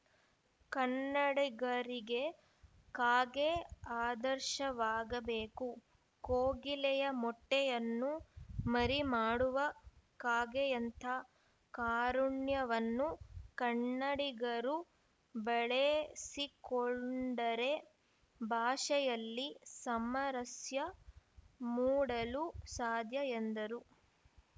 ಕನ್ನಡಿಗರಿಗೆ ಕಾಗೆ ಆದರ್ಶವಾಗಬೇಕು ಕೋಗಿಲೆಯ ಮೊಟ್ಟೆಯನ್ನು ಮರಿ ಮಾಡುವ ಕಾಗೆಯಂಥ ಕಾರುಣ್ಯವನ್ನು ಕನ್ನಡಿಗರು ಬೆಳೆಸಿಕೊಂಡರೆ ಭಾಷೆಯಲ್ಲಿ ಸಮರಸ್ಯ ಮೂಡಲು ಸಾಧ್ಯ ಎಂದರು